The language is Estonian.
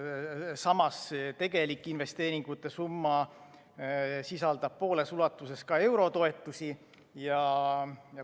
Samas sisaldab tegelik investeeringute summa pooles ulatuses ka eurotoetusi.